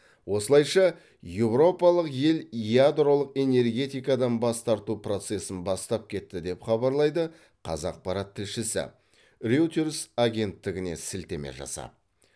осылайша еуропалық ел ядролық энергетикадан бас тарту процесін бастап кетті деп хабарлайды қазақпарат тілшісі реутерс агенттігіне сілтеме жасап